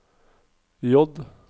J